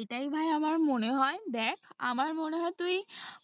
এটাই ভাই আমার মনে হয় দেখ আমার মনে হয় তুই